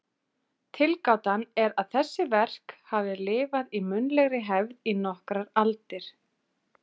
Tilgátan er að þessi verk hafi lifað í munnlegri hefð í nokkrar aldir.